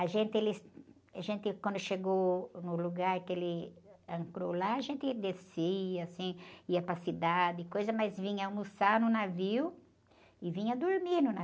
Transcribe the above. A gente eles, a gente quando chegou no lugar que ele ancorou lá, a gente descia, assim, ia para a cidade, mas vinha almoçar no navio e vinha dormir no navio.